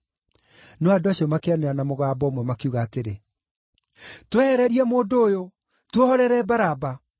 No andũ acio makĩanĩrĩra na mũgambo ũmwe, makiuga atĩrĩ, “Twehererie mũndũ ũyũ! Tuohorere Baraba!” (